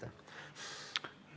Aitäh!